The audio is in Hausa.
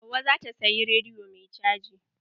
Hauwa zata siyi rediyo mai caji.